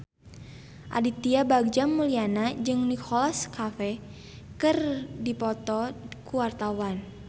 Aditya Bagja Mulyana jeung Nicholas Cafe keur dipoto ku wartawan